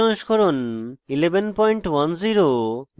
ubuntu os সংস্করণ 1110